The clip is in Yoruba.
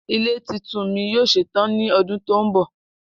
Ile titun mi yoo ṣetan ni ọdun to nbọ.